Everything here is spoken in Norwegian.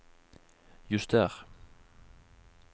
juster